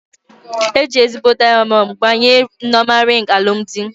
Eji ezigbo dịamọnd gbanye Nneoma rịng alụmdi